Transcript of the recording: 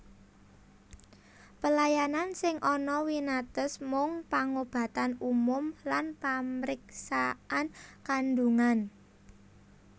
Pelayanan sing ana winates mung pangobatan umum lan pamriksaan kandhungan